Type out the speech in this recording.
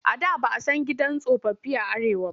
A da ba a san gidan tsofaffi a Arewa ba.